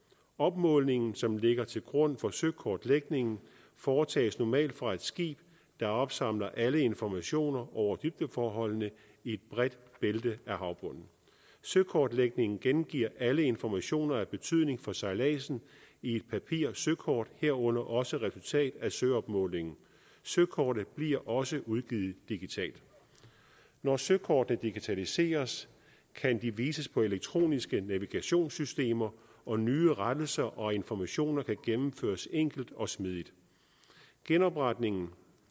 opmålingen som ligger til grund for søkortlægningen foretages normalt fra et skib der opsamler alle informationer over dybdeforholdene i et bredt bælte af havbunden søkortlægningen gengiver alle informationer af betydning for sejladsen i et papir søkort herunder også resultat af søopmålingen søkortet bliver også udgivet digitalt når søkortene digitaliseres kan de vises på elektroniske navigationssystemer og nye rettelser og informationer kan gennemføres enkelt og smidigt genopretningen